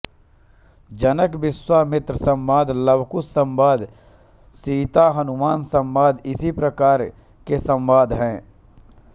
जनकविश्वामित्र संवाद लवकुश संवाद सीताहनुमान संवाद इसी प्रकार के संवाद हैं